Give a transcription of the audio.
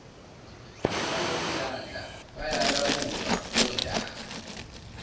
banomdlandla bayalawulwa ontanga